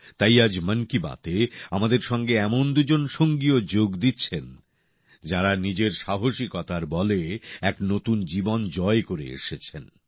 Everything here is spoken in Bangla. তাই আজ মন কি বাতএ আমাদের সঙ্গে এমন দুজন সঙ্গীও যোগ দিচ্ছেন যারা নিজের সাহসিকতার বলে এক নতুন জীবন জয় করে এসেছেন